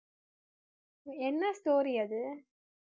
என்ன story அது